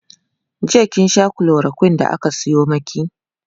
jiya kin Sha chloroquine da ya Sayo maki?